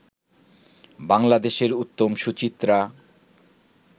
বাংলাদেশের উত্তম-সুচিত্রা